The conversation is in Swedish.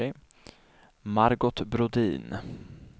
Margot Brodin